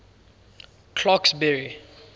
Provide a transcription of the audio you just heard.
clarksburry